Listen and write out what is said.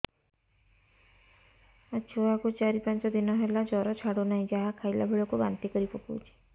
ମୋ ଛୁଆ କୁ ଚାର ପାଞ୍ଚ ଦିନ ହେଲା ଜର ଛାଡୁ ନାହିଁ ଯାହା ଖାଇଲା ବେଳକୁ ବାନ୍ତି କରି ପକଉଛି